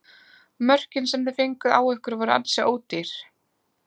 Mörkin sem þið fenguð á ykkur voru ansi ódýr?